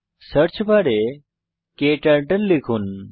search বারে ক্টার্টল লিখুন